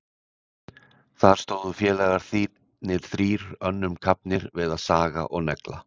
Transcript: Þar stóðu félagarnir þrír önnum kafnir við að saga og negla.